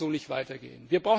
Das kann so nicht weitergehen!